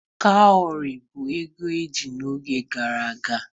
Cowries bụ ego eji n'oge gara aga.